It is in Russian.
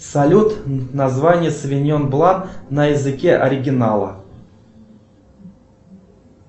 салют название совиньон блан на языке оригинала